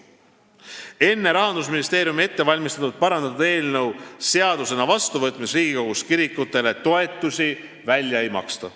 Enne Rahandusministeeriumi ettevalmistatud ja parandatud eelnõu seadusena vastuvõtmist Riigikogus kirikutele toetusi välja ei maksta.